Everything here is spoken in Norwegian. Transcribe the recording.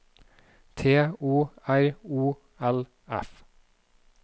T O R O L F